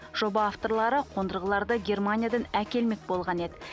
жоба авторлары қондырғыларды германиядан әкелмек болған еді